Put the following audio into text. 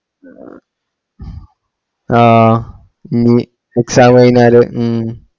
ഏർ ആഹ് ഉം exam കഴിഞ്ഞാല് ഉം